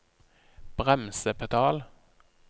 bremsepedal